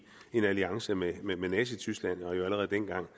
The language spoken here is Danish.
en alliance med nazityskland og allerede dengang